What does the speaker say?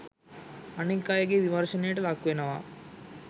අනෙක් අයගේ විමර්ශනයට ලක්වෙනවා.